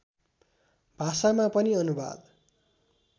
भाषामा पनि अनुवाद